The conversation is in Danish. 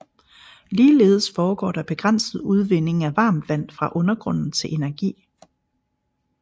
Ligeledes foregår der begrænset udvinding af varmt vand fra undergrunden til energi